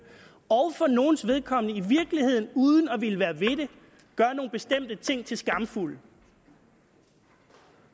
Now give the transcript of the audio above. og at for nogles vedkommende i virkeligheden uden at man vil være ved det gør nogle bestemte ting til skamfuldt